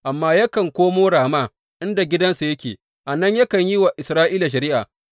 Amma yakan komo Rama inda gidansa yake, a nan yakan yi wa Isra’ila shari’a.